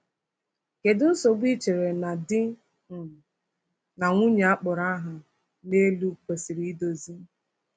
Kedu nsogbu i chere na di um na nwunye a kpọrọ aha n’elu kwesịrị idozi?